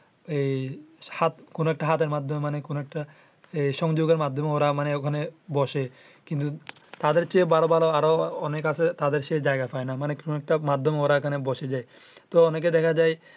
কোনো একটা হাতের মাধ্যমে কোনো একটা সংযোগের মাধ্যমে ওরা মানে ওখানে বসে। কিন্তু তাদের চেয়ে ভালো ভালো আরো অনেক আছে। তাদের সেই জায়গা পাইনা মানে কোনো একটা মাধ্যমে ওরা ওখানে বসে যাই।